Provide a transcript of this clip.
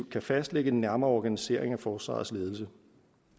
kan fastlægge en nærmere organisering af forsvarets ledelse